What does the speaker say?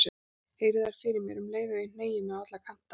Heyri þær fyrir mér um leið og ég hneigi mig á alla kanta.